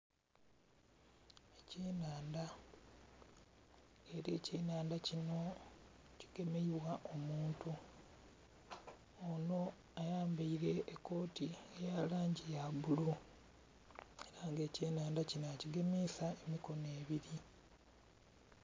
Ekyenhandha era ekyenhandha kino kigemebwa omuntu ono ayambaire ekoti eyalangi yabbululu era nga ekyenhandha kino akigemisa emikono ebiri.